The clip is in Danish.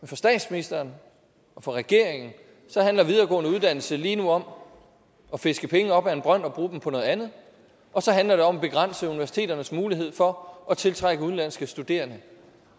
for statsministeren og for regeringen handler videregående uddannelser lige nu om at fiske penge op af en brønd og bruge dem på noget andet og så handler det om at begrænse universiteternes mulighed for at tiltrække udenlandske studerende